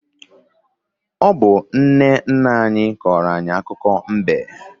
Ọ bụ nne nna anyị kọrọ anyị akụkọ mbe.